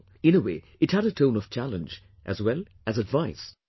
" In a way it had a tone of challenge as well as advice